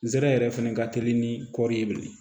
Nsɛrɛ fɛnɛ ka teli ni kɔɔri ye bilen